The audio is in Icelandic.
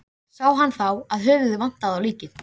Sá hann þá að höfuðið vantaði á líkið.